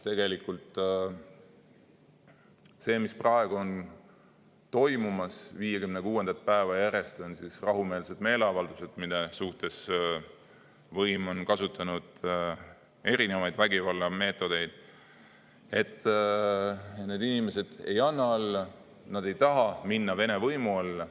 Tegelikult see, mis praegu on toimumas 56. päeva järjest – need on siis rahumeelsed meeleavaldused, mille vastu võim on kasutanud erinevaid vägivallameetodeid –, need inimesed ei anna alla, nad ei taha minna Vene võimu alla.